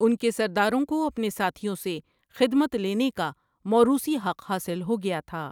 ان کے سرداروں کو اپنے ساتھیوں سے خدمت لینے کا موروثی حق حاصل ہو گیا تھا ۔